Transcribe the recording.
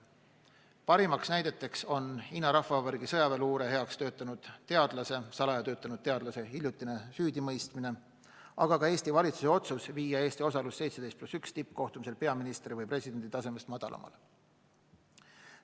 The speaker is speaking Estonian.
Parimad näited on Hiina Rahvavabariigi sõjaväeluure heaks salaja töötanud teadlase hiljutine süüdimõistmine, aga ka Eesti valitsuse otsus viia Eesti osalus 17+1 tippkohtumisel peaministri või presidendi tasemest madalamale.